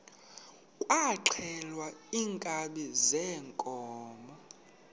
kwaxhelwa iinkabi zeenkomo